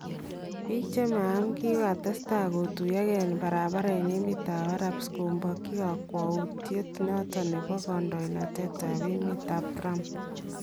Biik chembakii kokatestai kotuyokee en barabaraa emetab Arabs kombakii kakwautiet noton nebo kandoindetab emet Trump